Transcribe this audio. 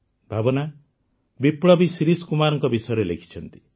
ଭାବନା ବିପ୍ଳବୀ ଶିରିଷ କୁମାରଙ୍କ ବିଷୟରେ ଲେଖିଛନ୍ତି